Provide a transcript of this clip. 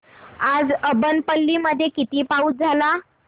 आज अब्बनपल्ली मध्ये किती पाऊस झाला